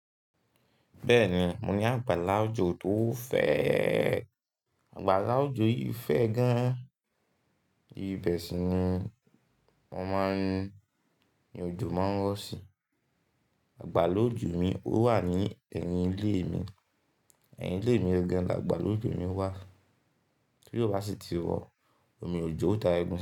Bẹ́ẹ̀ni, mo ní àgbàlá òjò tó fẹ́, àgbàlá òjò yìí fẹ́ gan-an. Ibeṣi ni mo máa ń, ni òjò máa ń rọ̀ si. Àgbà ló òjò mi, ó wà ní ẹ̀yìn ilé mi. Ẹ̀yìn ilé mi gangáń lá àgbà ló òjò mi wà. Kí ló bá sì ti wọ̀, omi òjò ó da ẹgun.